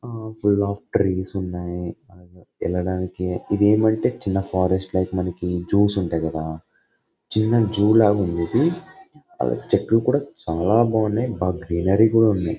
ఆ ఆ long trees ఉన్నాయి వెళ్లడానికి ఇదేమంటే చిన్న ఫారెస్ట్ లైక్ మనకి జూ సు ఉంటాయి కదా చిన్న జూ ల ఉంది ఇది చెట్లు చాలా బాగున్నాయి గ్రీనరీ కూడా ఉంది.